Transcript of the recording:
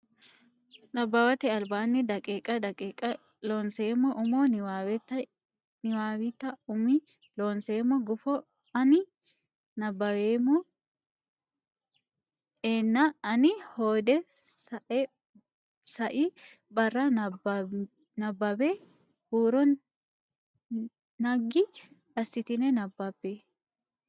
Nabbawate Albaanni daqiiqa daqiiqa Loonseemmo umo niwaawennita umi Loonseemmo gufo ani nabbaweemmo a nena ane hoode sai barra nabbambe huuro ne naggi assitine nabbabbe.